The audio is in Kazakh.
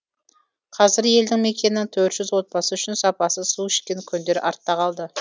қазір елді мекеннің төрт жүз отбасы үшін сапасыз су ішкен күндер артта қалды